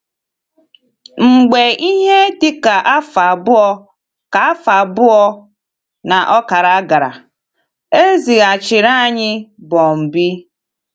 Mgbe ihe dị ka afọ abụọ ka afọ abụọ na ọkara gara, e zighachiri anyị Bọmbee.